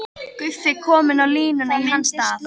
Guffi kominn á línuna í hans stað!